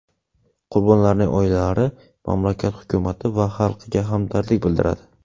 Qurbonlarning oilalari, mamlakat hukumati va xalqiga hamdardlik bildiradi.